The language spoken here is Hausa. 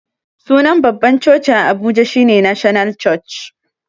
Sunan babban coci a abuja shine national church